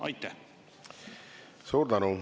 Suur tänu!